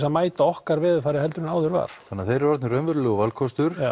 að mæta okkar veðurfari en áður var þannig að þeir eru orðnir raunverulegur valkostur